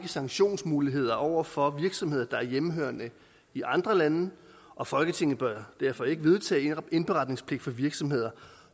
sanktionsmuligheder over for virksomheder der er hjemmehørende i andre lande og folketinget bør derfor ikke vedtage indberetningspligt for virksomheder